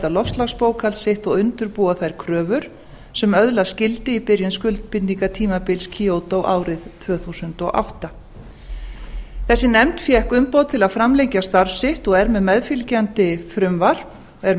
loftslagsbókhald sitt og undirbúa þær kröfur sem öðlast gildi í byrjun skuldbindingartímabils kyoto árið tvö þúsund og átta þessi nefnd fékk umboð til að framlengja starf sitt og er